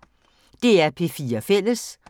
DR P4 Fælles